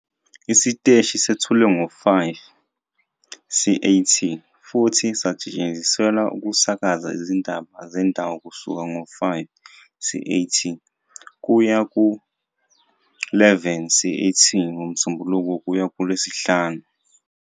Isiteshi sethulwe ngo-17- 00 CAT futhi sasetshenziselwa ukusakaza izindaba zendawo kusuka ngo-17- 00 CAT kuya ku-23- 00 CAT ngoMsombuluko kuya kuLwesihlanu.